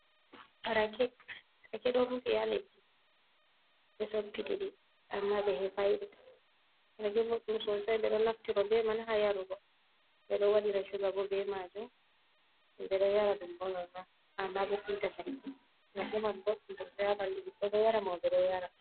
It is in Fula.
Rake ɗon rufi ha leddi be soppitidi amma behefae boɗɗum sonsai, ɓe ɗo naftiro be man ha yarugo, ɓe ɗo waɗira suga bo be majum, ɓe ɗo yara ɗum bolol ma amma be pinta cane rakeman bodɗum sosai a ɓallii bo ɗo yara mo be ɗo yara.